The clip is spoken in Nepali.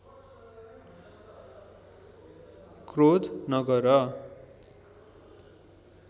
क्रोध नगर